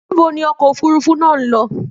Níbo ni ọkọ òfúrufú náà ń lọ?